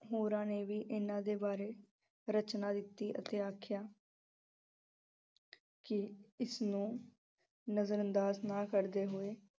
ਹੋਰਾਂ ਨੇ ਵੀ ਇਹਨਾਂ ਦੇ ਬਾਰੇ ਰਚਨਾਂ ਦਿੱਤੀ ਅਤੇ ਆਖਿਆ ਕਿ ਇਸ ਨੂੰ ਨਜ਼ਰ ਅੰਦਾਜ਼ ਨਾ ਕਰਦੇ ਹੋਏ।